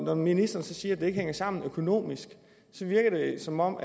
når ministeren siger at det ikke hænger sammen økonomisk så virker det som om